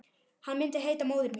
Hann myndi heita Móðir mín.